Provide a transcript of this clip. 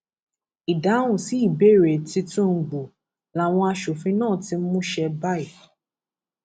ìdáhùn sí ìbéèrè tìtúngbù làwọn asòfin náà ti mú ṣe báyìí